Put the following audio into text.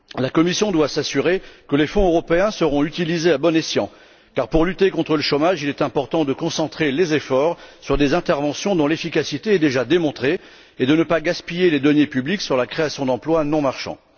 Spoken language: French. La Commission doit s'assurer que les fonds européens seront utilisés à bon escient car, pour lutter contre le chômage, il est important de concentrer les efforts sur des interventions dont l'efficacité est déjà démontrée et de ne pas gaspiller les deniers publics pour la création d'emplois non marchands.